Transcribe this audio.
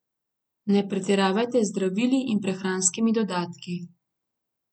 Ne pretiravajte z zdravili in prehranskimi dodatki.